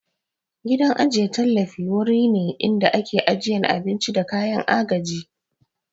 Gidan ajiye tallafi wuri ne inda ake ajiyan abinci da kayan agaji